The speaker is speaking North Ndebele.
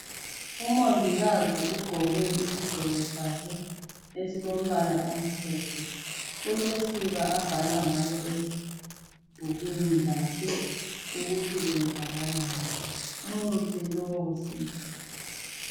Umongikazi ugqoke isigqoko sakhe esilombala omhlophe .Ulosiba abhala ngalo ebhukwini lakhe ukuthi kwenzakalani .Umuhle lowo sisi